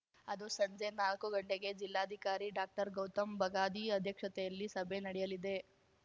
ಅದು ಸಂಜೆ ನಾಲ್ಕು ಗಂಟೆಗೆ ಜಿಲ್ಲಾಧಿಕಾರಿ ಡಾಕ್ಟರ್ಗೌತಮ್‌ ಬಗಾದಿ ಅಧ್ಯಕ್ಷತೆಯಲ್ಲಿ ಸಭೆ ನಡೆಯಲಿದೆ